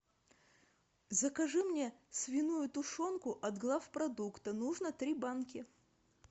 закажи мне свиную тушенку от главпродукта нужно три банки